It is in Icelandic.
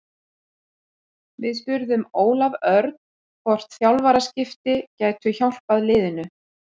Við spurðum Ólaf Örn hvort þjálfaraskipti gætu hjálpað liðinu?